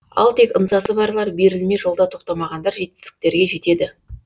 ал тек ынтасы барлар берілмей жолда тоқтамағандар жетістіктерге жетеді